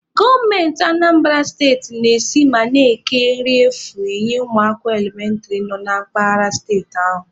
Gọọmenti Anambara steti na-esi ma na-eke nri efu enye ụmụaka elementịrị nọ na mpaghara steeti ahụ